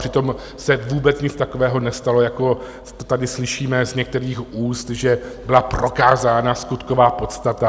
Přitom se vůbec nic takového nestalo, jak to tady slyšíme z některých úst, že byla prokázána skutková podstata.